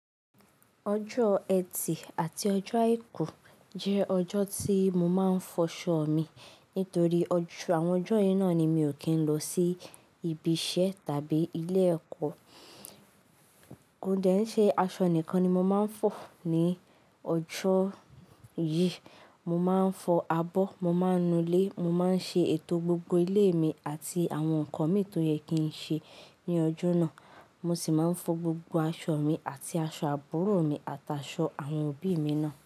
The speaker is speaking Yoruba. Ojo eti ati ojo aiku je ojo ti mo ma n foso mi nitori awon ojo yii na ni mi o ki n lo si ibi ise tabi ile eko. O de n se aso nikan ni mo ma n fo ni ojo yii, mo ma n fo abo, mo ma n nule, mo ma n se eto gbogbo ile mi ati awon nkan mi toyẹ ki n ṣe ni ojo naa. Mo si ma n fo gbogbo aso mi ati aso aburo mi ati aso awon obi mi naa.